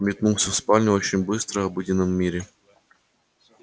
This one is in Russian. метнулся в спальню очень быстро обыденном мире